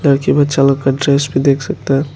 लड़की बच्चा लोग का ड्रेस भी देख सकता है।